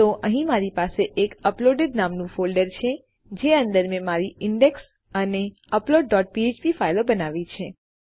તો અહીં મારી પાસે એક અપલોડેડ નામનું ફોલ્ડર છે જે અંદર મેં મારી ઇન્ડેક્સ અને અપલોડ ડોટ ફ્ફ્પ ફાઈલો બનાવી છે